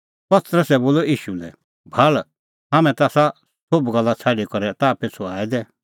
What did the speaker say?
पतरसै बोलअ ईशू लै भाल़ हाम्हैं ता आसा सोभ गल्ला छ़ाडी करै ताह पिछ़ू आऐ दै